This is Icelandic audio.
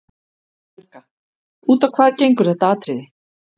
Helga: Út á hvað gengur þetta atriði?